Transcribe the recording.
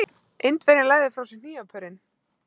Indverjinn lagði frá sér hnífapörin.